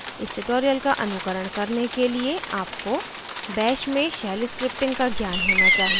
इस tutorial का अनुकरण करने के लिए आपको bash में shell scripting का ज्ञान होना चाहिए